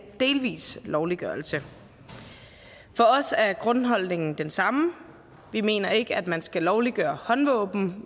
delvis lovliggørelse for os er grundholdningen den samme vi mener ikke at man skal lovliggøre håndvåben